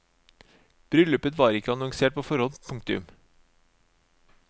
Bryllupet var ikke annonsert på forhånd. punktum